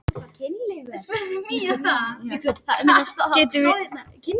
Getum slegið KR út úr keppninni